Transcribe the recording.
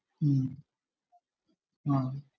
ഉം ആഹ്